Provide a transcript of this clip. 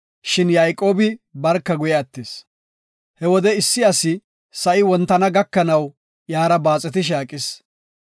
Shin Yayqoobi barka guye attis. He wode issi asi sa7i wontana gakanaw iyara baaxetishe aqis.